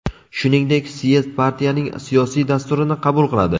Shuningdek, syezd partiyaning siyosiy dasturini qabul qiladi.